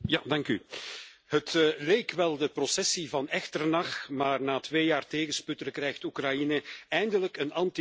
Het leek wel de processie van Echternach, maar na twee jaar tegensputteren krijgt Oekraïne eindelijk een anti corruptiehof.